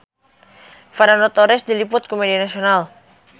Fernando Torres diliput ku media nasional